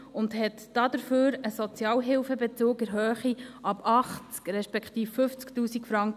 Es hat dafür einen Sozialhilfebezug in Höhe ab 80’000 Franken respektive 50’000